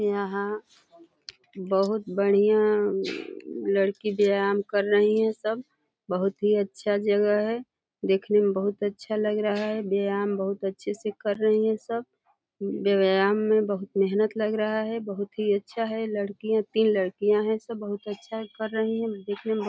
यहाँ बहुत बढ़िया लड़की व्यायाम कर रही हैं सब। बहुत ही अच्छा जगह है। देखने में बहुत अच्छा लग रहा है। व्यायाम बहुत अच्छे से कर रही हैं सब। व्यायाम में बहुत मेहनत लग रहा है। बहुत ही अच्छा है। लड़कियां तीन लड़किया हैं सब बहुत अच्छा कर रही है दिखने मे ब --